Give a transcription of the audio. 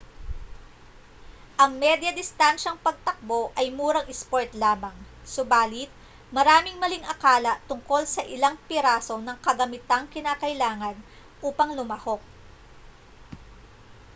ang medya-distansyang pagtakbo ay murang isport lamang subalit maraming maling akala tungkol sa ilang piraso ng kagamitang kinakailangan upang lumahok